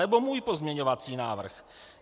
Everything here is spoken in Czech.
Anebo můj pozměňovací návrh.